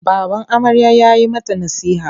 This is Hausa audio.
Baban amarya ya yi mata nasiha.